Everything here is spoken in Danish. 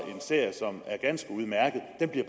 en serie som er ganske udmærket den bliver